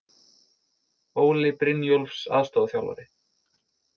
Óli Brynjólfs aðstoðarþjálfari.